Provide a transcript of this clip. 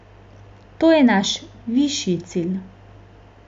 To je naš višji cilj.